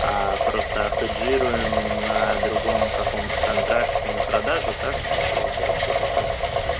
просто хеджируем на другом каком-то контракте на продажу так что ли получается или как